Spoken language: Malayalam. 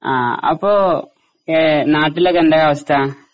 ആ അപ്പൊ ഏഹ് നാട്ടിലൊക്കെ എന്തായി അവസ്ഥ?